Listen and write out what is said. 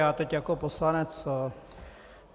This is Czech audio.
Já teď jako poslanec.